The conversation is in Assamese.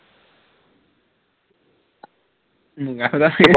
মূগা সূতা